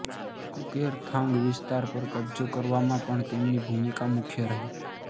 કુકેર થાંગ વિસ્તાર પર કબ્જો કરવામાં પણ તેમની ભૂમિકા મુખ્ય રહી